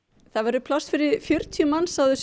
það verður pláss fyrir fjörutíu manns á þessu